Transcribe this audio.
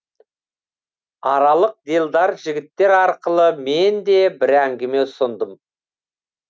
аралық делдал жігіттер арқылы мен де бір әңгіме ұсындым